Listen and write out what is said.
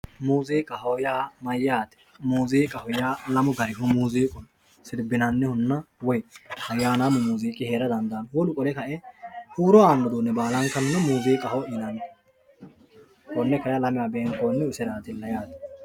Muuziiqaho yaa mayate, muuziiqaho yaa lamu garihu no muuziiqu siribinanihunna woyi ayanamu muuziiqqi heera dandano wolu qole kae huuro aano uduune baalankanni muuziiqqaho yinanni kone kayi lamewa beemkonnihu iserattilla yaate